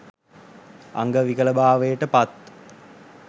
අංග විකලභාවයට පත්